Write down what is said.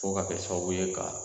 Fɔ k'a kɛ sababu ye ka